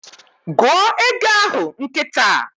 Gụọ égo ahụ nkịta!